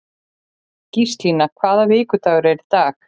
Gíslína, hvaða vikudagur er í dag?